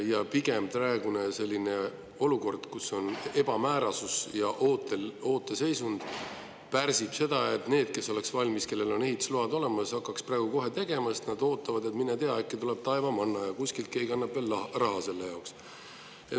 Ja praegune olukord, kus on ebamäärasus ja ooteseisund, pigem pärsib seda, et need, kes oleks valmis ja kellel on ehitusload olemas, hakkaks kohe praegu seda tegema, sest nad ootavad, et mine tea, äkki tuleb taevamanna, kuskilt keegi annab veel raha selle jaoks.